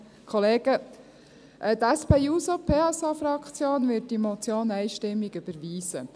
Die SP-JUSO-PSA-Fraktion wird diese Motion einstimmig überweisen.